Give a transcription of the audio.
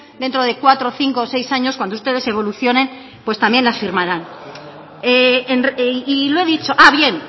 dentro de cuatro o cinco o seis años cuando ustedes evolucionen pues también las firmarán berbotsa y lo he dicho